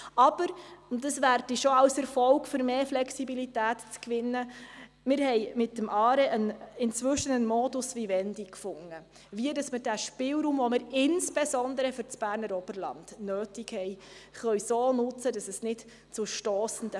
Aber wir konnten inzwischen mit dem ARE einen Modus Vivendi finden, wie wir den Spielraum, den wir insbesondere für das Berner Oberland benötigen, nutzen können, damit es keine stossenden Fälle gibt.